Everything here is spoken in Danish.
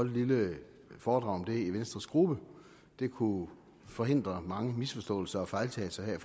et lille foredrag om det i venstres gruppe det kunne forhindre mange misforståelser og fejltagelser her i